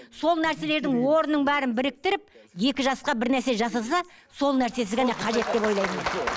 сол нәрселердің орнын бәрін біріктіріп екі жасқа бір нәрсе жасаса сол нәрсесі ғана қажет деп ойлаймын мен